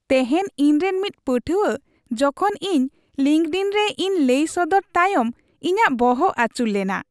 ᱛᱮᱦᱮᱧ ᱤᱧᱨᱮᱱ ᱢᱤᱫ ᱯᱟᱹᱴᱷᱩᱣᱟᱹ ᱡᱚᱠᱷᱚᱱ ᱤᱧ ᱞᱤᱝᱠᱰᱤᱱ ᱨᱮ ᱤᱧ ᱞᱟᱹᱭ ᱥᱚᱫᱚᱨ ᱛᱟᱭᱚᱢ ᱤᱧᱟᱹᱜ ᱵᱚᱦᱚ ᱟᱹᱪᱩᱨ ᱞᱮᱱᱟ ᱾